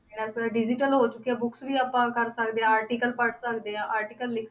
digital ਹੋ ਚੁਕਿਆ books ਵੀ ਆਪਾਂ ਕਰ ਸਕਦੇ ਹਾਂ article ਪੜ੍ਹ ਸਕਦੇ ਹਾਂ article ਲਿਖ